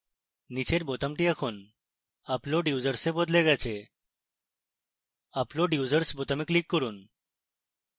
নীচের বোতামটি এখন upload users এ বদলে গেছে upload users বোতামে click করুন